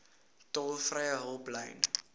tolvrye hulplyn